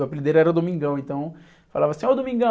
O apelido dele era o Domingão, então falava assim, ó Domingão.